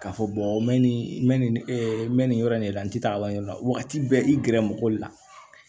K'a fɔ mɛ nin mɛ nin mɛ nin yɔrɔ in de la n tɛ taa wali yɔrɔ la wagati bɛɛ i gɛrɛ mɔgɔ la